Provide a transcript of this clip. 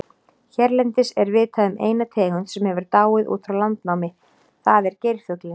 Hérlendis er vitað um eina tegund sem hefur dáið út frá landnámi, það er geirfuglinn.